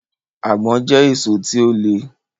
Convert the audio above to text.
Àgbọ̀n jẹ́ èso tí ó le